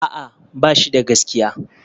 A'a, ba shi da gaskiya.